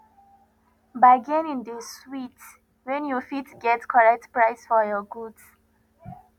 bargaining dey sweet wen you fit get correct price for your goods